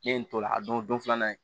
N ye n t'o la don filanan ye